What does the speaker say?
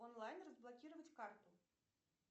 онлайн разблокировать карту